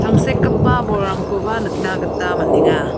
tangsekgipa bolrangkoba nikna gita man·enga.